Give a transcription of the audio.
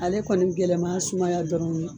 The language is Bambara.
Ale kɔni gɛlɛnma ye sumaya dɔrɔnw ye.